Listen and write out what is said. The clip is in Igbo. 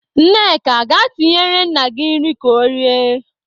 Nneka, gaa tinyere nna gị nri ka o rie!